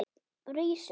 Rís upp.